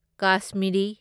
Kashmiri